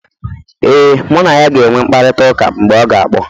ee, mụ na ya ga-enwe mkparịta ụka mgbe ọ ga kpọ